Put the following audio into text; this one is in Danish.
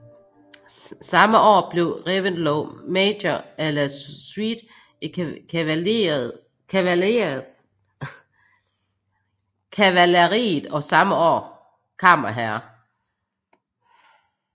Samme år blev Reventlow major à la suite i kavaleriet og samme år kammerherre